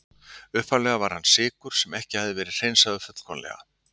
Upphaflega var hann sykur sem ekki hafði verið hreinsaður fullkomlega.